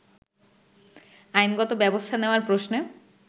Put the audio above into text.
আইনগত ব্যবস্থা নেওয়ার প্রশ্নে